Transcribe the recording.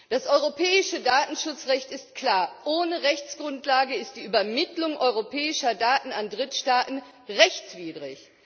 Das europäische Datenschutzrecht ist klar Ohne Rechtsgrundlage ist die Übermittlung europäischer Daten an Drittstaaten rechtswidrig.